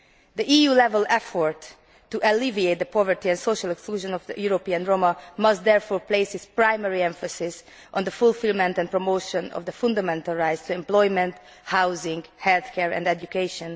The EU level effort to alleviate the poverty and social exclusion of European Roma must therefore place its primary emphasis on the fulfilment and promotion of the fundamental rights to employment, housing, healthcare and education.